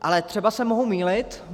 Ale třeba se mohu mýlit.